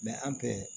an fɛ